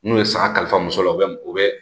N'u ye sara kalifa muso la u bɛ u bɛ